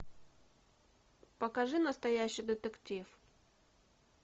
покажи настоящий детектив